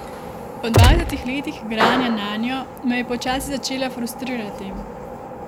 Po dvajsetih letih igranja nanjo me je počasi začela frustrirati.